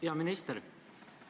Hea minister!